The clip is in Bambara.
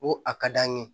Ko a ka d'an ye